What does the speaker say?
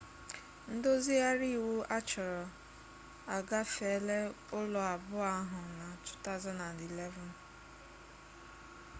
ndozigharị iwu achọrọ agafeela ụlọ abụọ ahụ na 2011